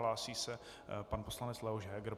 Hlásí se pan poslanec Leoš Heger.